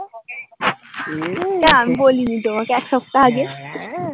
এটা অমি বলিনি তোমাকে এক সপ্তা আগে?